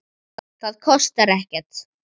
Það kostar ekkert.